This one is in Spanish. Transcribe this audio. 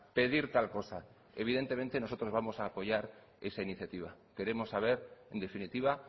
pedir tal cosa evidentemente nosotros vamos a apoyar esa iniciativa queremos saber en definitiva